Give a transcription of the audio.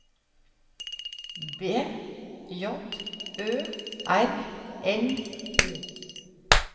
B J Ø R L O